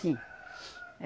Sim.